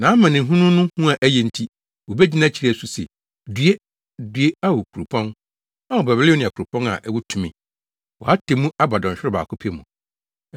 Nʼamanehunu no hu a ɛyɛ nti, wobegyina akyiri asu se, “ ‘Due! Due, Ao, kuropɔn, Ao Babilonia, kuropɔn a ɛwɔ tumi! Wʼatemmu aba dɔnhwerew baako pɛ mu.’